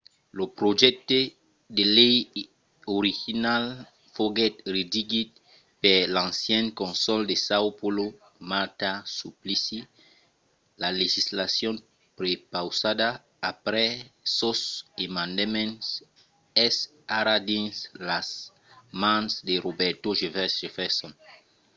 lo projècte de lei original foguèt redigit per l'ancian cònsol de são paulo marta suplicy. la legislacion prepausada après sos emendaments es ara dins las mans de roberto jefferson